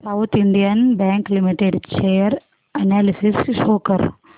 south Indian bank limited share analysis show कर